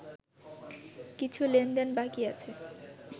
কিছু লেনদেন বাকি আছে